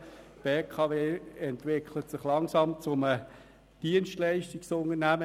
Die BKW entwickelt sich langsam zu einem Dienstleistungsunternehmen.